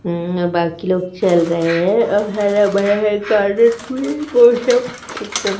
अं बाकी लोग चल रहे है और हरा भरा है एकदम--